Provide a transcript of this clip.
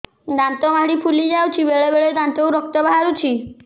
ଦାନ୍ତ ମାଢ଼ି ଫୁଲି ଯାଉଛି ବେଳେବେଳେ ଦାନ୍ତରୁ ରକ୍ତ ବାହାରୁଛି